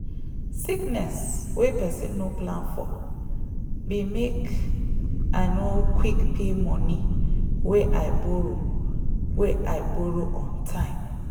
sickness wey person no plan for been makei no quick pay money wey i borrow wey i borrow on time.